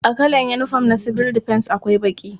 A kalar yinifom na sibil difens akwai baƙi.